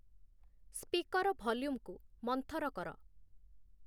speaker ଭଲ୍ୟୁମ୍‌କୁ ମନ୍ଥର କର